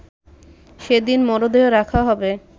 সেদিন মরদেহ রাখা হবে